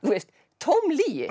tóm lygi